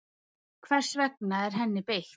hvers vegna er henni beitt